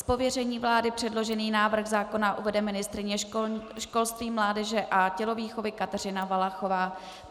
Z pověření vlády předložený návrh zákona uvede ministryně školství, mládeže a tělovýchovy Kateřina Valachová.